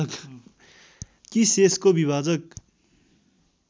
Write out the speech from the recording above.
कि शेषको विभाजक